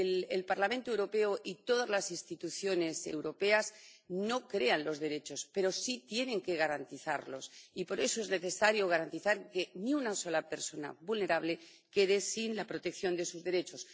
El Parlamento Europeo y todas las instituciones europeas no crean los derechos, pero sí tienen que garantizarlos, y por eso es necesario garantizar que ni una sola persona vulnerable quede sin la protección de sus derechos.